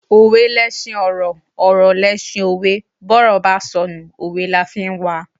Òwe leṣin ọ̀rọ̀, ọ̀rọ̀ leṣin òwe, bówe bá sọnù, òwe la fi ń wa.